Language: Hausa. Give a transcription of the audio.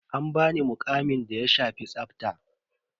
An bani muƙamin da ya shafi tsafa.